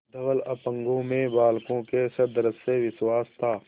धवल अपांगों में बालकों के सदृश विश्वास था